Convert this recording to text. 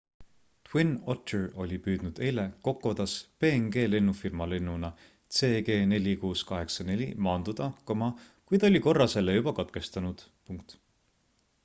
twin otter oli püüdnud eile kokodas png lennufirma lennuna cg4684 maanduda kuid oli korra selle juba katkestanud